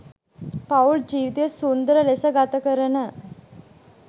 පවුල් ජීවිතය සුන්ඳර ලෙස ගතකරන